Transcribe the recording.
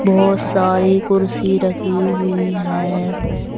बहोत सारी कुर्सी रखी हुई है।